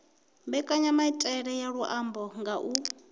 mbekanyamaitele ya luambo nga u